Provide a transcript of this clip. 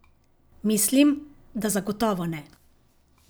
Mislim, da zagotovo ne.